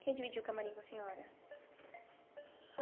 Quem dividiu o camarim com a senhora?